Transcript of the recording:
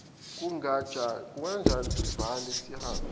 kunganjani sivale sihambe